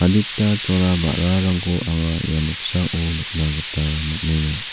adita chola ba·rarangko anga ia noksao nikna gita man·enga.